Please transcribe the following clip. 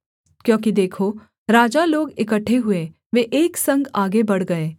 क्योंकि देखो राजा लोग इकट्ठे हुए वे एक संग आगे बढ़ गए